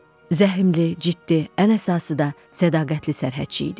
Zəhmli, ciddi, ən əsası da sədaqətli sərhədçi idi.